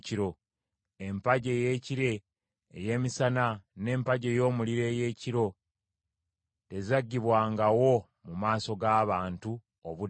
Empagi ey’ekire ey’emisana, n’empagi ey’omuliro ey’ekiro tezaggibwawo mu maaso g’abantu obudde bwonna.